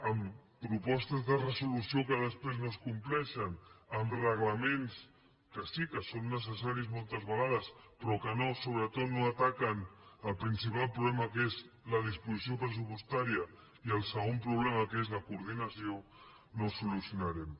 amb propostes de resolució que després no es compleixen amb reglaments que sí que són necessaris moltes vegades però que sobretot no ataquen el principal problema que és la disposició pressupostària i el segon problema que és la coordinació no ho solucionarem